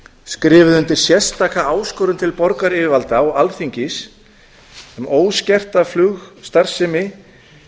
skrifuðu undir sérstaka áskorun til borgaryfirvalda og alþingis um óskerta flugstarfsemi